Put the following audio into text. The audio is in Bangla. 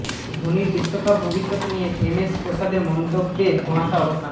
ধোনির বিশ্বকাপ ভবিষ্যৎ নিয়ে এম এস প্রসাদের মন্তব্যে ধোঁয়াশা অবসান